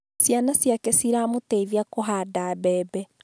Ciana ciake ciramũteithia kũhanda mbebe